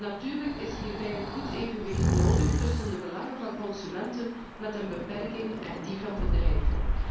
Natuurlijk is hierbij een goed evenwicht nodig tussen de belangen van consumenten met een beperking en die van bedrijven.